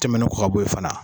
Tɛmɛnen kɔ ka bɔ yen fana